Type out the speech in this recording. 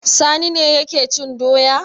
Sani ne yake cin doya.